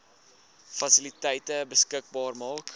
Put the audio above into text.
fasiliteite beskikbaar maak